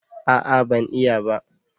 A'a ban iya ba